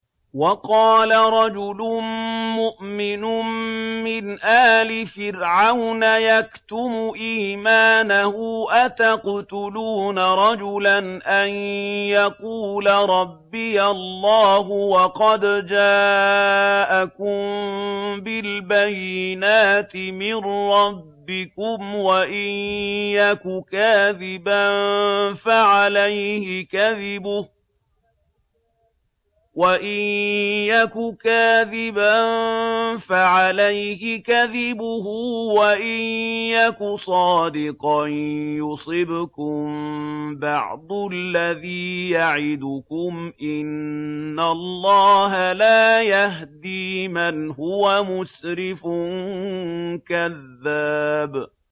وَقَالَ رَجُلٌ مُّؤْمِنٌ مِّنْ آلِ فِرْعَوْنَ يَكْتُمُ إِيمَانَهُ أَتَقْتُلُونَ رَجُلًا أَن يَقُولَ رَبِّيَ اللَّهُ وَقَدْ جَاءَكُم بِالْبَيِّنَاتِ مِن رَّبِّكُمْ ۖ وَإِن يَكُ كَاذِبًا فَعَلَيْهِ كَذِبُهُ ۖ وَإِن يَكُ صَادِقًا يُصِبْكُم بَعْضُ الَّذِي يَعِدُكُمْ ۖ إِنَّ اللَّهَ لَا يَهْدِي مَنْ هُوَ مُسْرِفٌ كَذَّابٌ